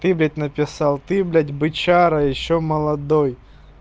ты блядь написал ты блядь бычара ещё молодой